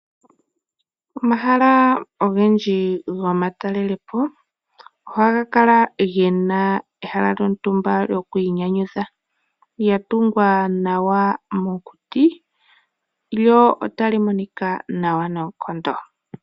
Omahala ogendji gomatalelepo ohaga kala gena ehala lyontumba lyokwinyanyudha lyatungwa nawa mokuti lyo otali monika naw nonkondo.